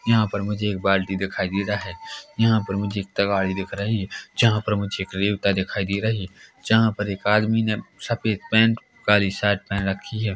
यहां पर मुझे एक बाल्टी दिखाई दे रहा है यहां पर मुझे तगाड़ी दिख रही है जहां पर मुझे रेवता दिखाई दे रही है जहां पर एक आदमी ने सफेद पेन्ट काली शर्ट पहेन रखी है।